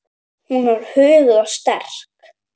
Hún var huguð og sterk.